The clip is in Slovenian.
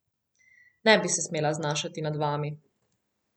Ne bi se smela znašati nad vami.